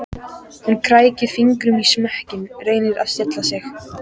Hún krækir fingrum í smekkinn, reynir að stilla sig.